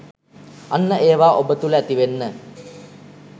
අන්න ඒවා ඔබ තුළ ඇතිවෙන්න